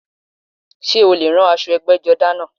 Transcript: Sé o lè rán aṣọ ẹgbẹ́jọdá náà?